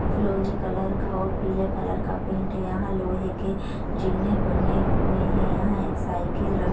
फिरोजी कलर का और पीले कलर का पेन्ट यहाँ लोहे के जीने बने हुए है यहाँ एक साइकल र-- ।